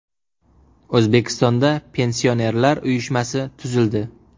O‘zbekistonda Pensionerlar uyushmasi tuzildi.